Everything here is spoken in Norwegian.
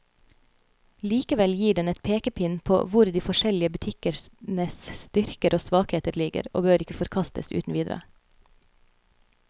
Likevel gir den en pekepinn på hvor de forskjellige butikkenes styrker og svakheter ligger, og bør ikke forkastes uten videre.